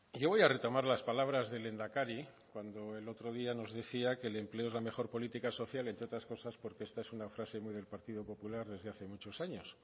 yo voy a retomar las palabras del lehendakari cuando el otro día nos decía que el empleo es la mejor política social entre otras cosas porque esta es una frase muy del partido popular desde hace muchos años